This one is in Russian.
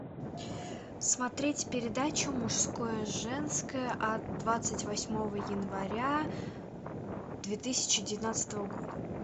смотреть передачу мужское женское от двадцать восьмого января две тысячи девятнадцатого года